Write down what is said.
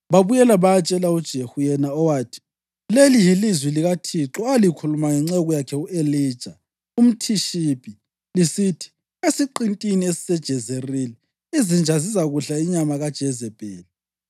Babuyela bayatshela uJehu yena owathi, “Leli yilizwi likaThixo alikhuluma ngenceku yakhe u-Elija umThishibi lisithi: Esiqintini esiseJezerili izinja zizakudla inyama kaJezebheli,